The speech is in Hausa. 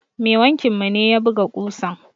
Mai wankin mu ne ya buga ƙusan.